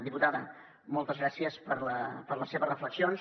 diputada moltes gràcies per les seves reflexions